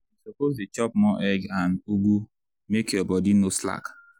you suppose dey chop more egg and ugu make your body no slack.